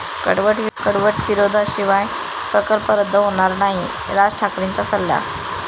कडवट विरोधाशिवाय प्रकल्प रद्द होणार नाही, राज ठाकरेंचा सल्ला